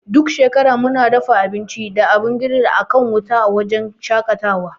Duk shekara muna dafa abinci da abin giril akan wuta a wujen shaƙatawa.